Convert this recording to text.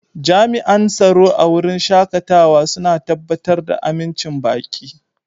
Jami'an tsaro a wurin shakatawa suna tabbatar da amincin baƙi.